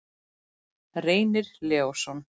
Reynir Leósson.